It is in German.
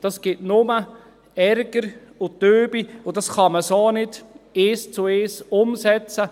– Das gibt nur Ärger und Wut, und das kann man so nicht eins zu eins umsetzen.